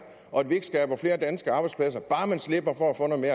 og at vi ikke skaber flere danske arbejdspladser bare man slipper for at få noget